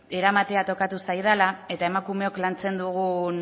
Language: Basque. eramatea tokatu zaidala eta emakumeok lantzen dugun